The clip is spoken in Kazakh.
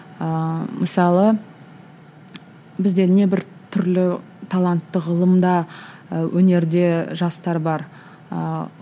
ыыы мысалы бізде небір түрлі талантты ғылымда ы өнерде жастар бар ыыы